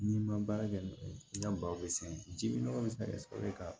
N'i ma baara kɛ n y'a baro sɛnɛ ji nɔgɔ bɛ se ka kɛ sababu ye ka